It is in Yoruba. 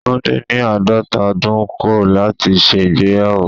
Tunde ní àádọ́ta ọdún kọ̀ láti ṣe ìgbéyàwó.